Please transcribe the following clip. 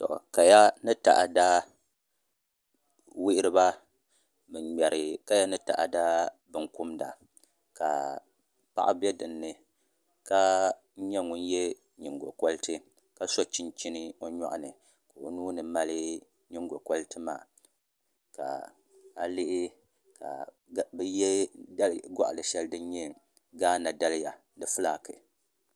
Kaya ni taada wuhuriba bin ŋmɛri kaya ni taada binkumda ka paɣa bɛ dinni ka nyɛ ŋun yɛ nyingokoriti ka so chinchini o nyoɣani ka o nuuni mali nyingokoriti maa ka a lihi ka bi yɛ goɣano shɛli din nyɛ gaana daliya di fulaaki